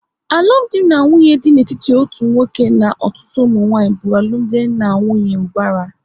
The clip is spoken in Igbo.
Alụmdi na nwunye dị n'etiti otu nwoke na ọtụtụ ụmụnwanyị bụ alụmdi na nwunye ubara